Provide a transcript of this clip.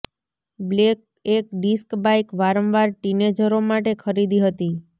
black એક disk bike વારંવાર ટીનેજરો માટે ખરીદી હતી